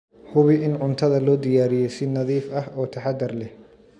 Hubi in cuntada loo diyaariyey si nadiif ah oo taxadar leh.